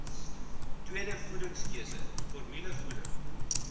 tweede voedingskeuse formulevoeding